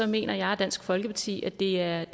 mener jeg og dansk folkeparti at det er